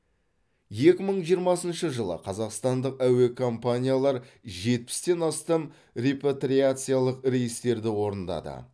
екі мың жиырмасыншы жылы қазақстандық әуе компаниялар жетпістен астам репатриациялық рейстерді орындады